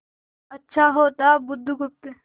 अच्छा होता बुधगुप्त